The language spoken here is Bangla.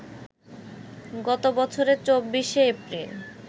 গত বছরের ২৪শে এপ্রিল